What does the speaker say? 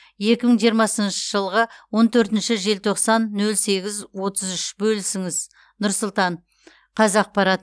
екі мың жиырмасыншы жылғы он төртінші желтоқсан нөл сегіз отыз үш бөлісіңіз нұр сұлтан қазақпарат